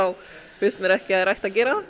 finnst mér ekki að þær ættu að gera